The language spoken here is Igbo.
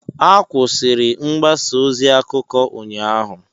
Akwụsịrụ mgbasa ozi akụkọ ụnyaahụ